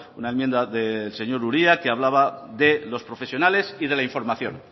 una enmienda del señor uria que hablaba de los profesionales y de la información